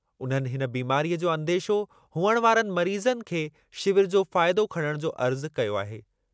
उन्हनि हिन बीमारीअ जो अंदेशो हुअणु वारनि मरीज़नि खे शिविर जो फ़ाइदो खणण जो अर्ज़ु कयो आहे।